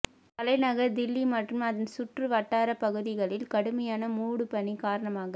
தலைநகர் தில்லி மற்றும் அதன் சுற்றுவட்டாரப் பகுதிகளில் கடுமையான மூடுபனி காரணமாக